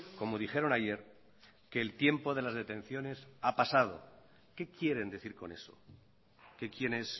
como dijeron ayer que el tiempo de las detenciones ha pasado qué quieren decir con eso que quienes